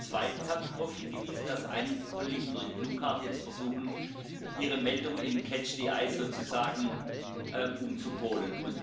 Und zweitens habe ich darauf hingewiesen, dass einige Kollegen jetzt durch blaue Karten versuchen, ihre Meldung im Catch the eye sozusagen umzupolen.